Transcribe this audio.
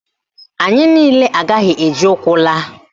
Anyị niile agaghị eji ụkwụ laa.